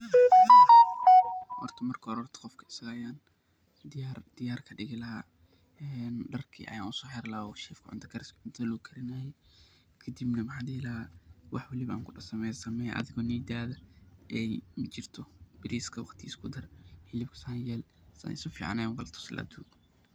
Horta marka hore qofka asaga ayaan diyaar kadigi lahaa, darki ayaan usoo xiri lahaa uu ku shaqeynaye cunta kariska kii lagu karinaye, kadib waxaan dihi lahaa wixi aan kudoho samee adhiba niyada aay jirto, bariiska waqtigiisa kudar, hilibka saan yeel, si fican ayaan ukala tusi lahaa.